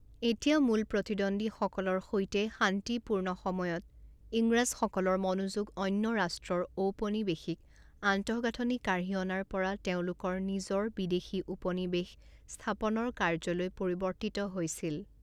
এতিয়া মূল প্ৰতিদ্বন্দ্বীসকলৰ সৈতে শান্তিপূৰ্ণ সময়ত, ইংৰাজসকলৰ মনোযোগ অন্য ৰাষ্ট্ৰৰ ঔপনিৱেশিক আন্তঃগাঁথনি কাঢ়ি অনাৰ পৰা তেওঁলোকৰ নিজৰ বিদেশী উপনিৱেশ স্থাপনৰ কাৰ্যলৈ পৰিৱৰ্তিত হৈছিল।